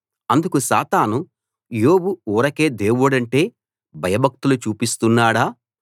అందుకు సాతాను యోబు ఊరకే దేవుడంటే భయభక్తులు చూపిస్తున్నాడా